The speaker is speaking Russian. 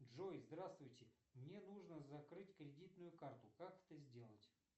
джой здравствуйте мне нужно закрыть кредитную карту как это сделать